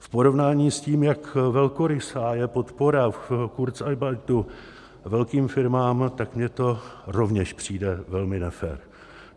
V porovnání s tím, jak velkorysá je podpora ke kurzarbeitu velkým firmám, tak mně to rovněž přijde velmi nefér.